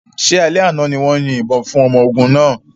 Ṣé alẹ́ àná ni wọ́n yin ìbọn fún ọmọ ogun náà?